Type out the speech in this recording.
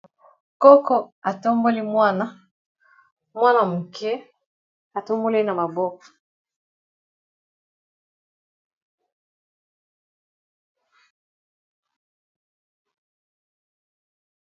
Koko atomboli mwana mwana moke atomboli na maboko.